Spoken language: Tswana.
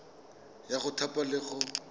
ya go thapa le go